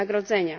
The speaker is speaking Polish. wynagrodzenia.